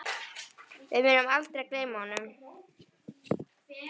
Við munum aldrei gleyma honum.